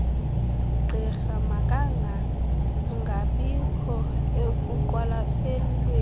gqirha makangangabikho ekuqwalaselweni